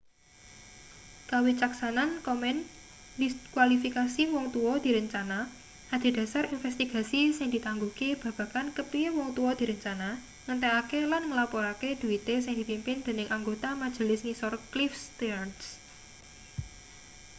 kawicaksanan komen ndiskualifikasi wong tua direncana adhedhasar investigasi sing ditangguhke babagan kepiye wong tua direncana ngentekake lan nglaporake dhuite sing dipimpin dening anggota majelis ngisor cliff stearns